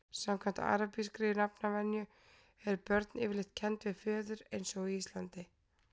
samkvæmt arabískri nafnvenju eru börn yfirleitt kennd við föður eins og á íslandi